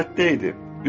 Məbəddə idi.